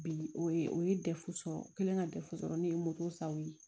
Bi o ye o ye sɔrɔ kelen ka sɔrɔ ne ye moto saw ye